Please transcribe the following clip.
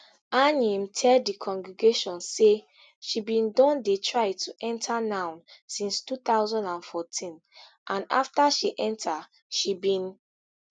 anyim tell di congregation say she bin don dey try to enta noun since two thousand and fourteen and afta she enta she bin